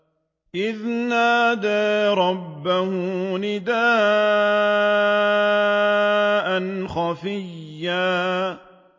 إِذْ نَادَىٰ رَبَّهُ نِدَاءً خَفِيًّا